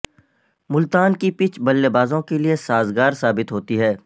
ملتان کی پچ بلے بازوں کے لیے سازگار ثابت ہوتی ہے